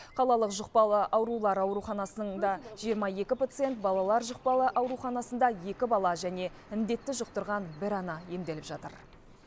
қалалық жұқпалы аурулар ауруханасында жиырма екі пациент балалар жұқпалы ауруханасында екі бала және індетті жұқтырған бір ана емделіп жатыр